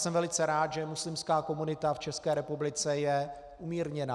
Jsem velice rád, že muslimská komunita v České republice je umírněná.